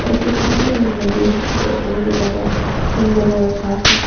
उसके सामने में एक नदी है जो बहुत ही ज्यादा सुंदर है और साफ है।